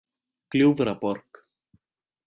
Gljúfraborg